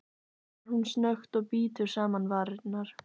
svarar hún snöggt og bítur saman varirnar.